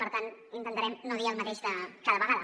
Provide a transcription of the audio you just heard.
per tant intentarem no dir el mateix cada vegada